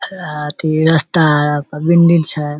आ अथी रस्ता आरा पर छै।